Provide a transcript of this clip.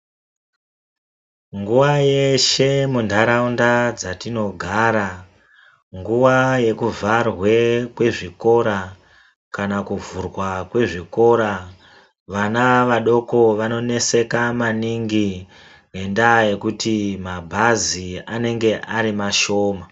Nguva yeshe mu ndaraunda dzatinogara nguva yekuvharwe kwe zvikora kana kuvhurwa kwe zvikora vana vadoko vano neseka maningi ngenda yekuti mabhazi anenge ari mashoma .